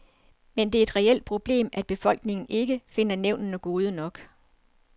Men det er et reelt problem, at befolkningen ikke finder nævnene gode nok.